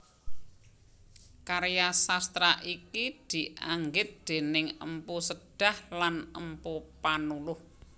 Karya sastra iki dianggit déning Mpu Sedah lan Mpu Panuluh